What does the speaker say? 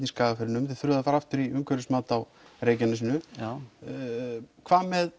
í Skagafirðinum þið þurfið að fara aftur í umhverfismat á Reykjanesinu hvað með